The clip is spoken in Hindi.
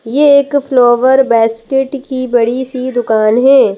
ये एक फ्लोवर बेस्केट की बड़ी सी दुकान है।